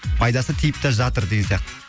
пайдасы тиіп та жатыр деген сияқты